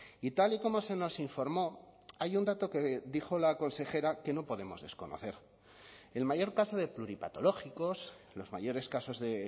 y tal y como se nos informó hay un dato que dijo la consejera que no podemos desconocer el mayor caso de pluripatológicos los mayores casos de